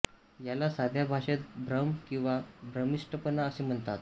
याला साध्या भाषेत भ्रम किंवा भ्रमिष्टपणा असे म्हणतात